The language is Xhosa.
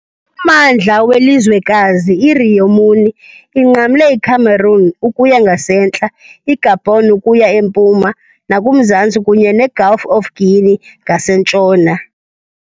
Ummandla welizwekazi, i- Rio Muni, inqamle iCameroon ukuya ngasentla, iGabon ukuya empuma nakumazantsi kunye neGulf of Guinea ngasentshona.